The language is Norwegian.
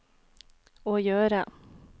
å gjøre